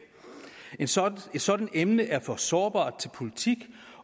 et sådant sådant emne er for sårbart til politik